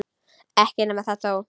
Ekki nema það þó!